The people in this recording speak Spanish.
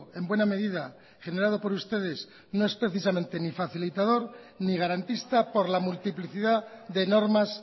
en buena medida generado por ustedes no es precisamente ni facilitador ni garantista por la multiplicidad de normas